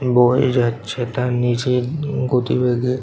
বয়ে যাচ্ছে তার নিজের গতিবেগে।